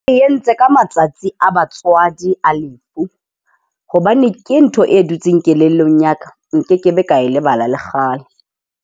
Re entse ka matsatsi a batswadi a lefu, hobane ke ntho e dutseng kelellong ya ka. Nkekebe ka lebala lekgale.